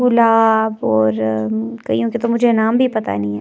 गुलाब और कइयों के तो मुझे नाम भी पता नहीं है।